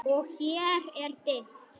Og hér er dimmt.